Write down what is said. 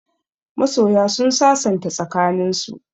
Masoya sun sasanta tsakaninsu.